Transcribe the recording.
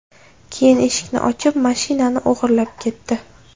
Keyin eshikni ochib, mashinanini o‘g‘irlab ketdi.